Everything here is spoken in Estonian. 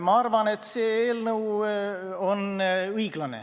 Ma arvan, et see eelnõu on õiglane.